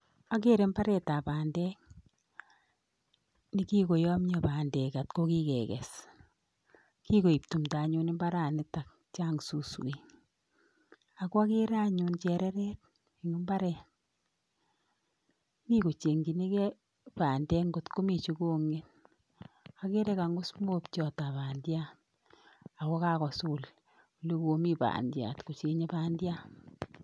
Agere mbaretab bandek ne kigoyomnyo bandek ak ko kikeges. Kigoek tumdo anyun imbaranitok chang suswek. Ak kwagere anyun chereret eng imbaret, mi kochengchinigei bandek ngot komi chegong'et. Agere kang'us mobchotab bandiat ago kagosul ole komi bandiat kocheng'ei bandiat.